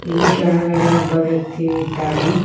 ಇಲ್ಲಿ ಕೆಳಗಡೆ ಒಬ್ಬ ವ್ಯಕ್ತಿಯು ಇದ್ದಾನೆ.